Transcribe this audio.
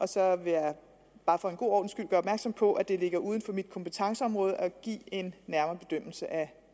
så vil jeg bare for en god ordens skyld opmærksom på at det ligger uden for mit kompetenceområde at give en nærmere bedømmelse af